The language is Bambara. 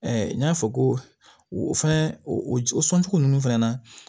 n y'a fɔ ko o fɛnɛ o sɔncogo ninnu fana na